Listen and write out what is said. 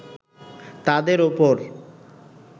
তাদের ওপর